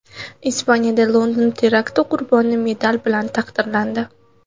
Ispaniyada London terakti qurboni medal bilan taqdirlandi.